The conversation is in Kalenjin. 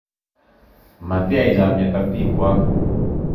Matiyai chomiet ak bikwok